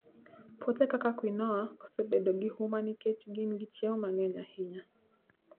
Puothe kaka quinoa osebedo gi huma nikech gin gi chiemo mang'eny ahinya.